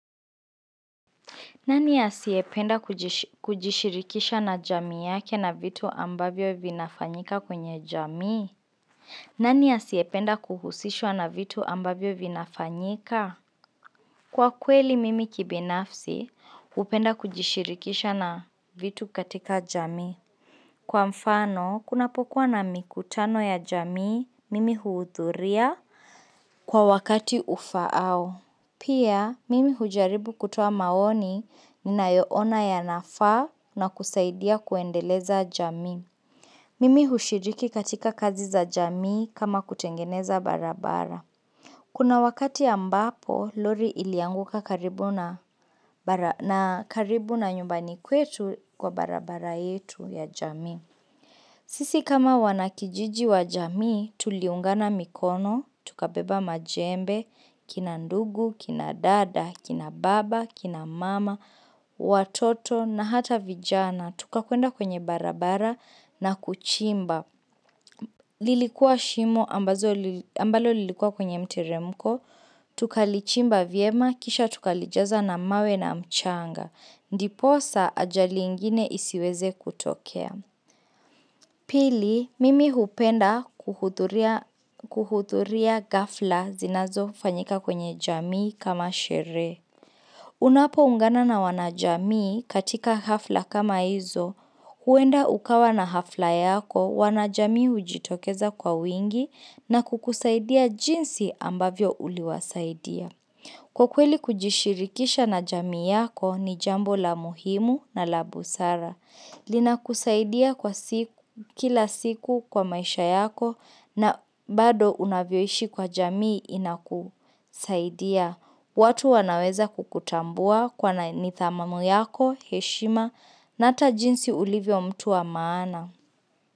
Nani asiependa kujishirikisha na jamii yake na vitu ambavyo vinafanyika kwenye jamii? Nani asiependa kuhusishwa na vitu ambavyo vinafanyika? Kwa kweli mimi kibinafsi, upenda kujishirikisha na vitu katika jamii. Kwa mfano, kunapokuwa na mikutano ya jamii, mimi huudhuria kwa wakati ufao. Pia, mimi hujaribu kutoa maoni ni nayoona ya nafaa na kusaidia kuendeleza jamii. Mimi hushiriki katika kazi za jamii kama kutengeneza barabara. Kuna wakati ambapo, Lori ilianguka karibu na nyumbani kwetu kwa barabara yetu ya jamii. Sisi kama wanakijiji wajamii, tuliungana mikono, tukabeba majembe, kina ndugu, kina dada, kina baba, kina mama, watoto na hata vijana, tuka kuenda kwenye barabara na kuchimba. Lilikuwa shimo ambazo lilikua kwenye mteremko, tukalichimba viema, kisha tukalijaza na mawe na mchanga, ndiposa ajali ingine isiweze kutokea. Pili, mimi hupenda kuhuturia gafla zinazo fanyika kwenye jamii kama shere. Unapo ungana na wanajamii katika hafla kama hizo, huenda ukawa na hafla yako wanajamii ujitokeza kwa wingi na kukusaidia jinsi ambavyo uliwasaidia. Kwa kweli kujishirikisha na jamii yako ni jambo la muhimu na la busara. Lina kusaidia kila siku kwa maisha yako na bado unavyoishi kwa jamii inakusaidia. Watu wanaweza kukutambua ni dhamamu yako, heshima na ata jinsi ulivyo mtu wa maana.